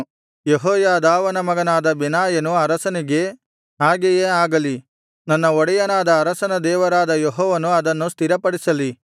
ಯೆಹೋಯಾದಾವನ ಮಗನಾದ ಬೆನಾಯನು ಅರಸನಿಗೆ ಹಾಗೆಯೇ ಆಗಲಿ ನನ್ನ ಒಡೆಯನಾದ ಅರಸನ ದೇವರಾದ ಯೆಹೋವನು ಅದನ್ನು ಸ್ಥಿರಪಡಿಸಲಿ